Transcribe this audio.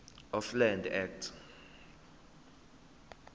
of land act